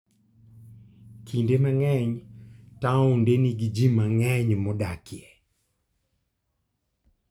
Kinde mang'eny taonde nigi ji mang'eny modakie.